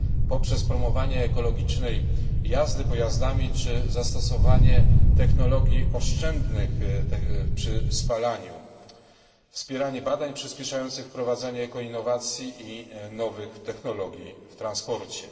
poprzez promowanie ekologicznej jazdy pojazdami czy zastosowanie technologii oszczędnych przy spalaniu, na wspieranie badań przyspieszających wprowadzanie eko innowacji i nowych technologii w transporcie.